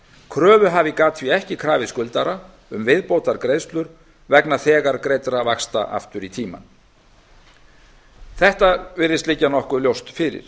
kröfuhafi gat því ekki krafið skuldara um viðbótargreiðslur vegna þegar greiddra vaxta aftur í tímann þetta virðist liggja nokkuð ljóst fyrir